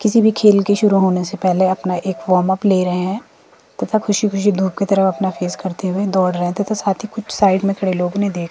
किसी भी खेल की शुरू होने से पहले अपना एक फॉमप अप ले रहे हैं तथा खुशी खुशी धूप की तरफ अपना फेस करते हुए दौड़ रहे है तथा साथ ही कुछ साइड में खड़े लोगों ने देख--